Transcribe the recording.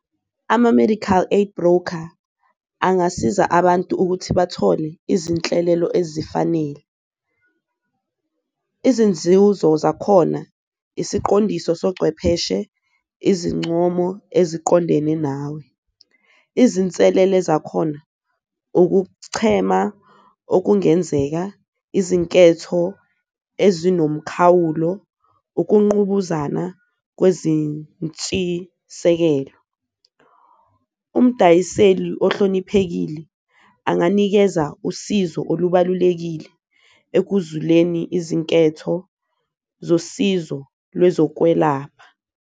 Ama-medical aid broker angasiza abantu ukuthi bathole izinhlelelo ezifanele, izinzuzo zakhona, isiqondiso, socwepheshe, izincomo eziqondene nawe. Izinselele zakhona ukuchema okungenzeka, izinketho ezinomkhawulo, ukunqubuzana kwezintshisekelo, umdayiseli ohloniphekile anganikeza usizo olubalulekile ekuzuleni izinketho zosizo lwezokwelapha.